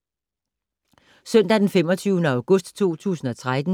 Søndag d. 25. august 2013